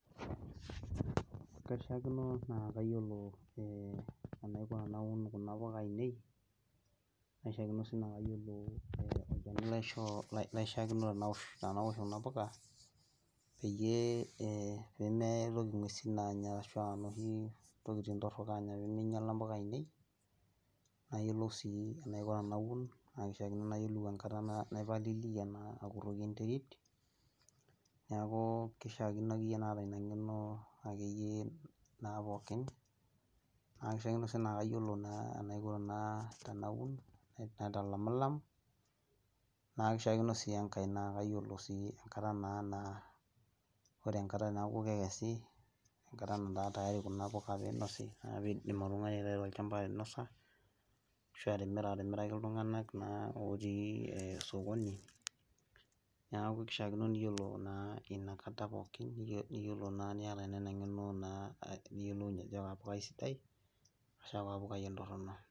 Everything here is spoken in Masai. Kaishakino naa kayioolo enaiko tenaun kuna puka ainei, naa kaishakino sii naa kayioolo olchani laishoo , kaishakino tenaosh Kuna puka peyie, pee meitoki inguesin aanya ntokitin torok aanya pee meingiala mpuka ainei, nayiolou sii enaiko tenaun, naa keishaakino nayiolo enkata, naipalilia, akuroki enterit, neeku keishaakino akeyie naata Ina ng'eno, akeyie naa pookin naa kishakino sii naa kayioolo enaiko tenaun naitalamilam, naa keishaakino sii enkae naa kayioolo sii enkata naa. Ore enkata neeku kekesi. enkata netaa tayari Kuna puka pee eidim oltungani aitayu tolduka ainosa. ashu atimira aatimiraki iltunganak naa, lotii sokoni neeku kishaakino niyiolo inakata pookin, niyata eng'eno niyiolounye ajo kaa pukai, sidai ashu aa kaapukai entorono.